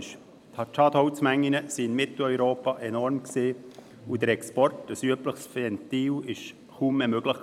Die Schadholzmengen waren in Mitteleuropa enorm, und der Export, ein übliches Ventil, war kaum mehr möglich.